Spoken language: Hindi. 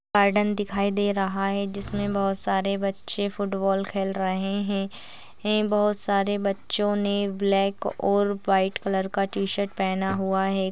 --गार्डन दिखाई दे रहा है जिसमें बहोत सारे बच्चे फुटबॉल खेल रहे है है बहोत सारे बच्चों ने ब्लैक और वाइट कलर का टी-शर्ट पहना हुआ है।